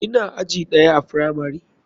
Ina aji ɗaya a firamari.